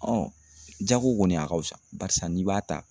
jago kɔni a ka fusa barisa n'i b'a ta